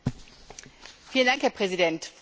Herr Präsident, Frau Kommissarin!